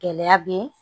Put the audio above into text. Gɛlɛya be